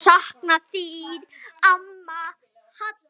Mun sakna þín amma Hadda.